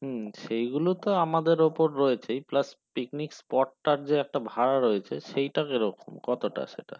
হুম সেইগুলোতো এমদের উপর রয়েছে plus picnic spot তার যে একটা ভাড়া রয়েছে সেটা কিরকম কতটা সেটা